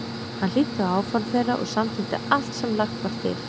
Hann hlýddi á áform þeirra og samþykkti allt sem lagt var til.